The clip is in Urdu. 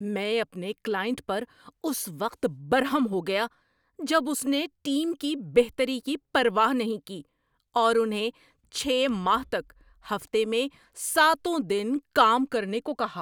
میں اپنے کلائنٹ پر اس وقت برہم ہو گیا جب اس نے ٹیم کی بہتری کی پرواہ نہیں کی اور انہیں چھ ماہ تک ہفتے میں ساتوں دن کام کرنے کو کہا۔